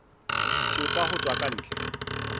thepa ho tswa ka ntle